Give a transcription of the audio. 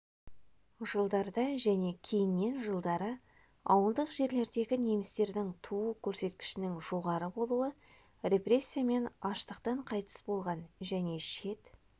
жылдарда және кейіннен жылдары ауылдық жерлердегі немістердің туу көрсеткішінің жоғары болуы репрессия мен аштықтан қайтыс болған және шет